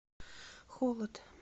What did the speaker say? холод